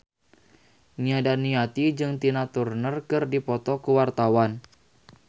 Nia Daniati jeung Tina Turner keur dipoto ku wartawan